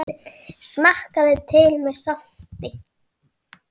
Smakkið til með salti.